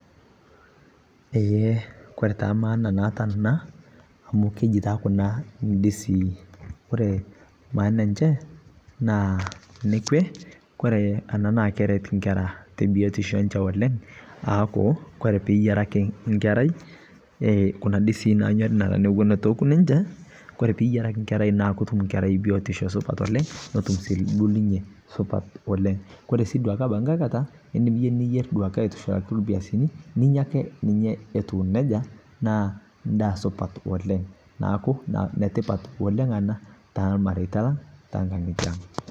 Eee kore taa maana naata ana amu keji taa kuna ildizii, ore maana enche naa nekwe, nÃ a keret inkera te biotisho enche oleng aaku kore piiyieraki nkerai kuna dizii naanyori notu oku ninche kore piiyieraki nkerai naa kotum nkerai biotisho naa ketum sinye oleng, koree sii duaake abaki nkae kata idim yie niyierr aitushulaki ilpiasini ninya ake etiu nejia naa supat oleng, naaku netipat oleng enaa toolmaretia long oo toonkagitie aang.